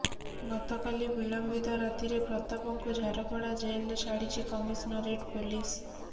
ଗତକାଲି ବିଳମ୍ବିତ ରାତିରେ ପ୍ରତାପଙ୍କୁ ଝାରପଡ଼ା ଜେଲରେ ଛାଡ଼ିଛି କମିଶନରେଟ୍ ପୋଲିସ